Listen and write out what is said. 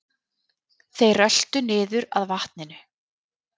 Þeir röltu niður að vatninu.